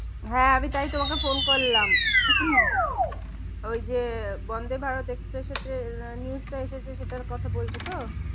হ্যাঁ আমি তাই তোমাকে phone করলাম উহ উম ওই যে বন্দে ভারত এক্সপ্রেস এতে news টা এসেছে সেটার কথা বলছো তো?